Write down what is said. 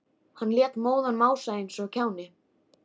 Hann lét móðan mása eins og kjáni.